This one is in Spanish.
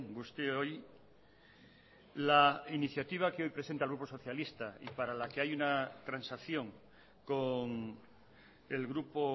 guztioi la iniciativa que hoy presenta el grupo socialista y para la que hay una transacción con el grupo